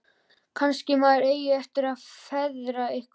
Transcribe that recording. Kannski maður eigi eftir að feðra eitthvað.